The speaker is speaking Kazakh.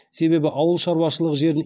себебі ауыл шаруашылығы жерін